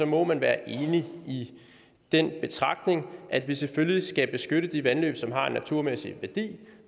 må man være enig i den betragtning at vi selvfølgelig skal beskytte de vandløb som har en naturmæssig værdi